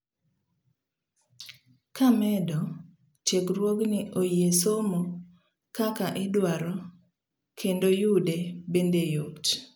Kamedo, tiegruogni oyie somo kaka idwaro kendoyude bende yot.